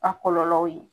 A kɔlɔlɔw ye